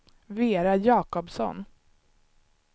Vera Jacobsson